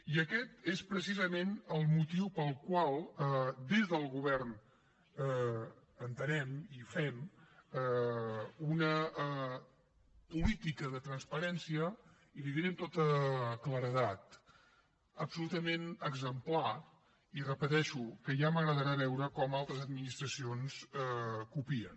i aquest és precisament el motiu pel qual des del govern entenem i fem una política de transparència i li ho diré amb tota claredat absolutament exemplar i ho repeteixo que ja m’agradarà veure com altres administracions copien